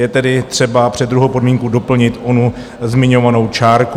Je tedy třeba před druhou podmínku doplnit onu zmiňovanou čárku.